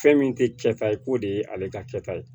Fɛn min tɛ kɛ ta ye k'o de ye ale ka kɛta ye